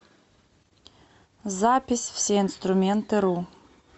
запись всеинструментыру